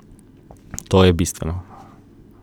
To je bistveno.